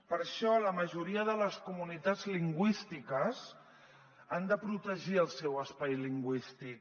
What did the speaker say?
per això la majoria de les comunitats lingüístiques han de protegir el seu espai lingüístic